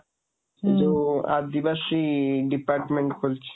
ହୁଁ , ଯୋଉ ଆଦିବାସୀ department ଖୋଲିଛି।